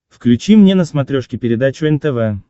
включи мне на смотрешке передачу нтв